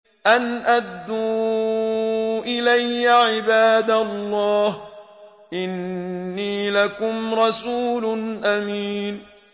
أَنْ أَدُّوا إِلَيَّ عِبَادَ اللَّهِ ۖ إِنِّي لَكُمْ رَسُولٌ أَمِينٌ